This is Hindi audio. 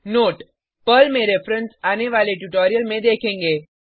नोट पर्ल में रिफ्रेंस आने वाले ट्यूटोरियल में देखेंगे